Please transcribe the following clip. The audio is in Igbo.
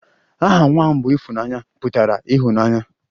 Aha nwa m bụ 'Ifunanya' pụtara ịhụnanya